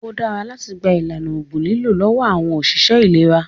Ó dára láti gba ìlànà ògùn lílò lọ́wọ́ àwọn ọ̀ṣìṣẹ́ ìlera